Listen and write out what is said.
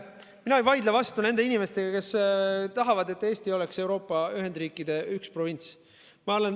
Mina ei vaidle vastu nendele inimestele, kes tahavad, et Eesti oleks Euroopa ühendriikide üks provints.